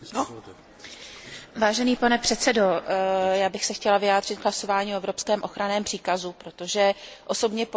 Já bych se chtěla vyjádřit k hlasování o evropském ochranném příkazu, protože osobně považuji tento nástroj za nesmírně důležitý.